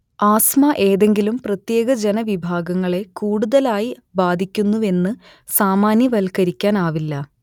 asthma ഏതെങ്കിലും പ്രത്യേക ജനവിഭാഗങ്ങളെ കൂടുതലായി ബാധിക്കുന്നുവെന്ന് സാമാന്യവൽക്കരിക്കാനാവില്ല